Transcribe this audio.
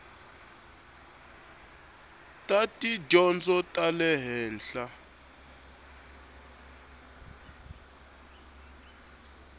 ta tidyondzo ta le henhla